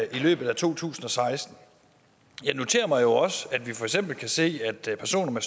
i løbet af to tusind og seksten jeg noterer mig også at vi for eksempel kan se at personer